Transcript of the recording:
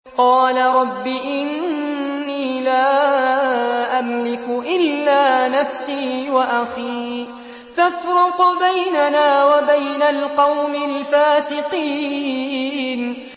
قَالَ رَبِّ إِنِّي لَا أَمْلِكُ إِلَّا نَفْسِي وَأَخِي ۖ فَافْرُقْ بَيْنَنَا وَبَيْنَ الْقَوْمِ الْفَاسِقِينَ